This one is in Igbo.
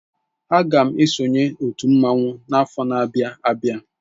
Aga m esonyere otú mmanwu afọ n'abia abịa.